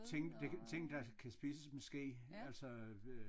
Ting der kan ting der kan spises med ske altså øh